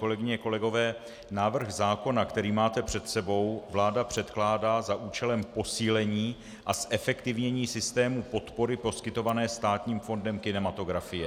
Kolegyně, kolegové, návrh zákona, který máte před sebou, vláda předkládá za účelem posílení a zefektivnění systému podpory poskytované Státním fondem kinematografie.